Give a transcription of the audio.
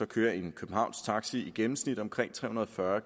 kører en københavnsk taxa i gennemsnit omkring tre hundrede og fyrre